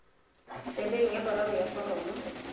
tsebeng ya boraro ya foromo